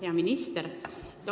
Hea minister!